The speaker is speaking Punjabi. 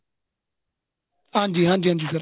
ਹਾਂਜੀ ਹਾਂਜੀ ਹਾਂਜੀ sir